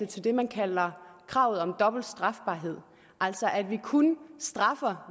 til det man kalder kravet om dobbelt strafbarhed altså at vi kun straffer